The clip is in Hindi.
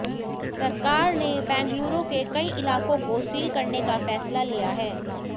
सरकार ने बेंगलुरु के कई इलाकों को सील करने का फैसला लिया है